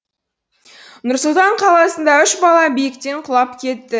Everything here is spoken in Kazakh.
нұр сұлтан қаласында үш бала биіктен құлап кетті